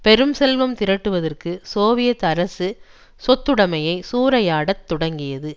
பெரும் செல்வம் திரட்டுவதற்கு சோவியத் அரசு சொத்துடமையை சூறையாடத் தொடங்கியது